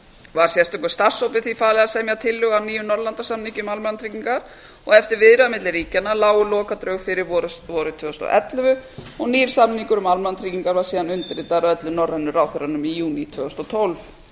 var sérstökum starfshópi því falið að semja tillögu að nýjum norðurlandasamningi um almannatryggingar eftir viðræður milli ríkjanna lágu lokadrög fyrir vorið tvö þúsund og ellefu og nýr samningur um almannatryggingar var síðan undirritaður af öllum norrænu ráðherrunum í júní tvö þúsund og tólf